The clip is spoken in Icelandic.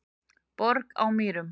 Borg á Mýrum